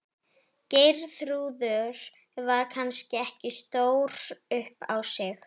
Geirþrúður var kannski ekki stór upp á sig.